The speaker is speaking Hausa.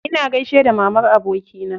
Ina gaishe da mamar abokina.